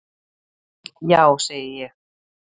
Já segi ég.